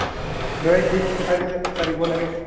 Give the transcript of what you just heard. ল'ৰাই gift পঠাই দিছে পাত্তা দিব লাগে